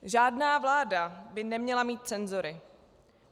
"Žádná vláda by neměla mít cenzory.